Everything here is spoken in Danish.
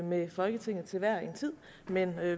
med folketinget til hver en tid men